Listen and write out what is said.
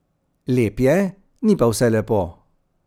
Lep je, ni pa vse lepo.